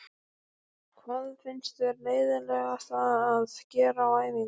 Hvað finnst þér leiðinlegast að gera á æfingu?